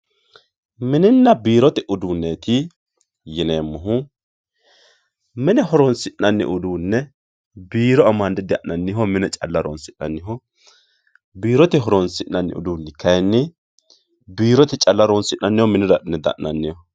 Mininna biirote uduunet yineemohu Mine horoni'nanni uduune biiro amande diha'nanniho mine calla horonsi'nanniho biirote horonsi'nanni kayinni biirote calla horonsi'nanniho minira adhi'ne diha'nanniho